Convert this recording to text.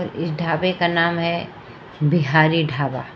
इस ढाबे का नाम है बिहारी ढाबा--